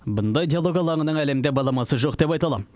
бұндай диалог алаңының әлемде баламасы жоқ деп айта алам